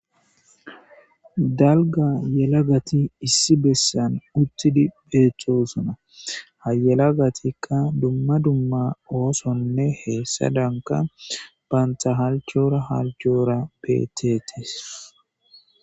Dalga yelagati issi bessan uttidi beethtosuna hayelagatikka dumma dumma oosonne heessa danka baanta halchora halchoora beetetis.